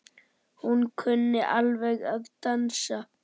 Hún kunni alveg að dansa.